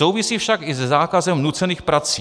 Souvisí však i se zákazem nucených prací.